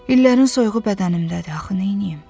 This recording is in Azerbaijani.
İllərin soyuğu bədənimdədir, axı neyniyim?